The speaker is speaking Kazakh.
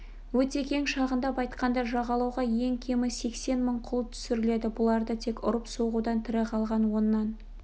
өте кең шағындап айтқанда жағалауға ең кемі сексен мың құл түсіріледі бұларды тек ұрып-соғудан тірі қалған оннан